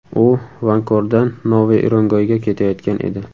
U Vankordan Noviy Urengoyga ketayotgan edi.